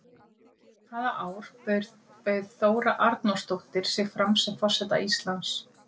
Hvaða ár bauð Þóra Arnórsdóttir sig fram sem forseta Íslands?